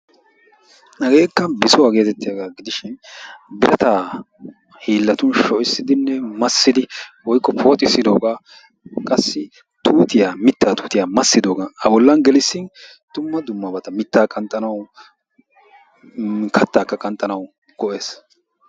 hageekka bissuwaa getettiyaagaa giidishin birattaa hillatun sho"issidinne maassidi woykko pooxisidoogaa qassi tuuttiyaa mittaa tuttiyaa massisidoogaa a bollan geeliisin dumma dummabata mittaa qanxxanawu kattaakka qanxxanaw go"ees.